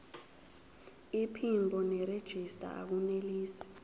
iphimbo nerejista akunelisi